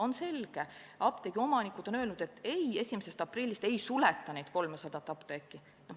On selge, et apteegiomanikud on öelnud, et aprillist ei suleta 300 apteeki.